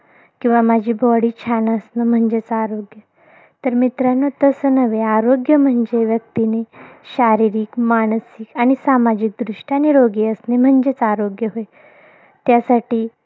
किंवा माझी body छान असणं म्हणजेच आरोग्य. तर मित्रांनो तसं नव्हे. आरोग्य म्हणजे, व्यक्तीनी शारीरिक, मानसिक आणि सामाजिकदृष्ट्या निरोगी असणं म्हणजेच आरोग्य होय. त्यासाठी